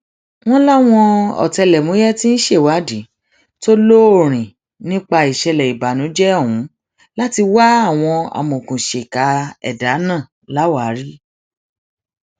wọn láwọn ọtẹlẹmúyẹ tí ń ṣèwádìí tó lóòrìn nípa ìṣẹlẹ ìbànújẹ ọhún láti wá àwọn amọòkùnsíkà ẹdà náà láwàárí